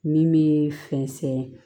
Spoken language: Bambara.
Min bɛ fɛnsɛn